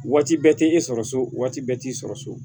Waati bɛɛ tɛ e sɔrɔ so waati bɛɛ t'i sɔrɔ so